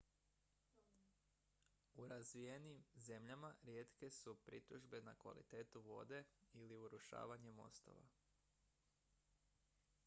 u razvijenim zemljama rijetke su pritužbe na kvalitetu vode ili urušavanje mostova